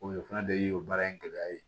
O fana de ye o baara in gɛlɛya ye